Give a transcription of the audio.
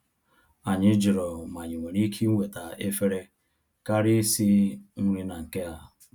Anyị jụrụ ma anyị nwere ike iweta efere karịa isi nri na nke a